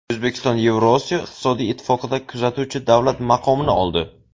O‘zbekiston Yevrosiyo iqtisodiy ittifoqida kuzatuvchi davlat maqomini oldi.